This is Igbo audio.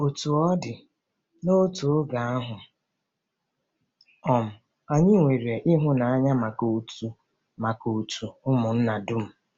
Otú ọ dị, n'otu oge ahụ, um anyị 'nwere ịhụnanya maka òtù maka òtù ụmụnna dum.